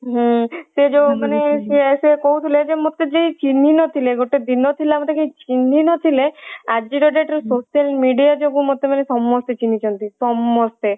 ହୁଁ ସେ ଯୋଉ ମାନେ ସେ ସେ କହୁଥିଲେ ଯେ ମତେ ଯିଏ ଚିହ୍ନି ନଥିଲେ ଗୋଟେ ଦିନ ଥିଲା ମତେ ଯିଏ ଚିହ୍ନି ନଥିଲେ ଆଜିର date ରେ social media ଯୋଗୁ ମତେ ମାନେ ସମସ୍ତେ ଚିହ୍ନିଛନ୍ତି ସମସ୍ତେ।